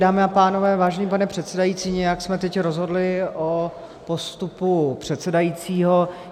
Dámy a pánové, vážený pane předsedající, nějak jsme teď rozhodli o postupu předsedajícího.